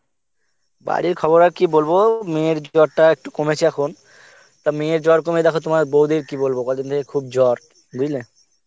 বাড়ির খবর আর কি বলব মেয়ের জ্বর টা একটু কমেছে এখন, তা মেয়ের জ্বর কমে দেখো তোমার বৌদির কি বলব কদিন ধরে খুব জ্বর বুজলে.